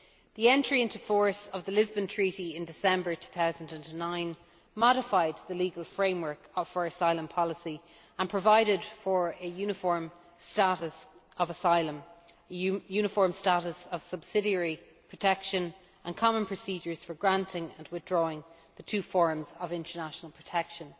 The entry into force of the Lisbon Treaty in December 2009 modified the legal framework for asylum policy and provided for a uniform status of asylum, a uniform status of subsidiary protection and common procedures for granting and withdrawing the two forms of international protection.